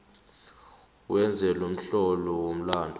wenze lomhlobo womlandu